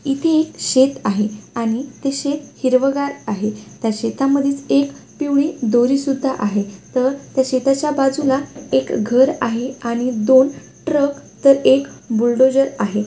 इथे शेत आहे आणि ते शेत हिरवगार आहे त्या शेतामधेच एक पिवळी दोरी सुद्धा आहे तर या शेताच्या बाजूला एक घर आहे आणि दोन ट्रक तर एक बुलडोजर आहे.